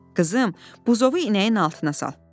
“Qızım, buzovu inəyin altına sal.”